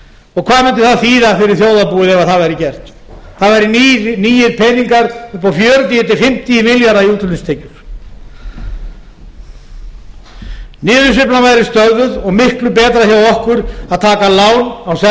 og hvað mundi það þýða fyrir þjóðarbúið ef það væri gert það væru nýir peningar upp á fjörutíu til fimmtíu milljarða í útflutningstekjur niðursveiflan væri stöðvuð og miklu betra fyrir okkur að taka lán